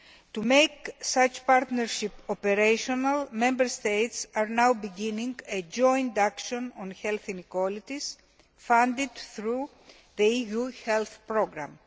To make such partnerships operational, Member States are now beginning a joint action on health inequalities, funded through the EU health programme.